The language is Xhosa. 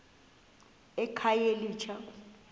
ekhayelitsha